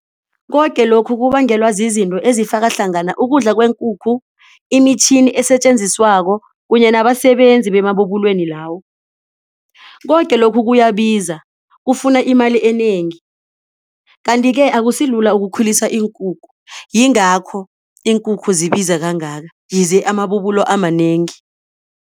Koke lokhu kubangelwa zizinto ezifaka hlangana ukudla kweenkukhu imitjhini esetjenziswako kunye nabasebenzi emabubulweni lawo. Koke lokhu kuyabiza kufuna imali enengi. Kanti-ke akusilula ukukhulisa iinkukhu yingakho iinkukhu zibiza kangaka yize amabubulo amanengi.